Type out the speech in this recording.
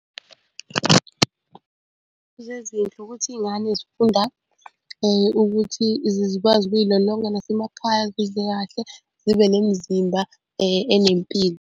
Ukuthi iy'ngane zifunda ukuthi zikwazi ukuy'lolonga nasemakhaya zidle kahle zibe nemizimba enempilo.